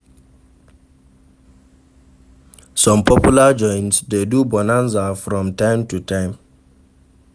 Some popular joints de do bonaza from time to time